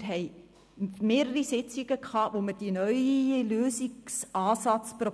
Wir hatten mehrere Sitzungen, in denen wir versucht haben, einen neuen Lösungsansatz zu